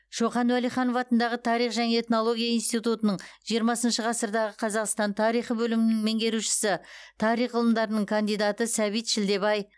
шоқан уәлиханов атындағы тарих және этнология институтының жиырмасыншы ғасырдағы қазақстан тарихы бөлімінің меңгерушісі тарих ғылымдарының кандидаты сәбит шілдебай